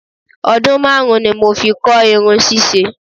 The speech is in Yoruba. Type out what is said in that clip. I spent 5 years learning hairstyling.